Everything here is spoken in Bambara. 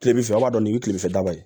Kilefɛ an b'a dɔn nin bɛ kile fɛ da la